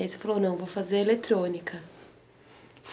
E aí você falou, não, eu vou fazer eletrônica.